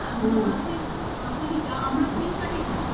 আমাদের মাসের grocery টা আমরা Flipkart এ কিনি।